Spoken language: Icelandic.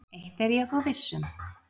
Eitt er ég þó viss um.